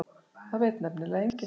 Það veit nefnilega enginn.